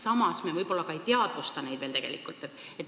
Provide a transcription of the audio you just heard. Samas me võib-olla ei teadvusta neid tegelikult.